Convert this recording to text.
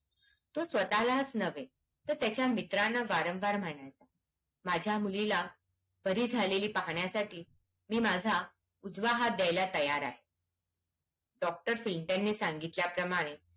तो स्वतालाच न्हवे तर त्याच्या मित्रांना वारंवार म्हणायचं माझ्या मुलीला बारी झालेली पाहण्यासाठी मी माझा उजवा हात द्यायला तयार आहे डॉक्टर सिंटरणे सांगितल्या प्रमाणे